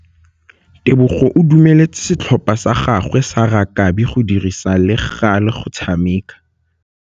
Tebogô o dumeletse setlhopha sa gagwe sa rakabi go dirisa le galê go tshameka.